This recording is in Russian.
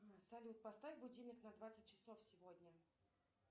салют поставь будильник на двадцать часов сегодня